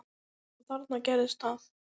Og þarna gerðist það.